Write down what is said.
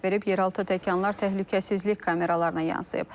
yeraltı təkanlar təhlükəsizlik kameralarına yansıyıb.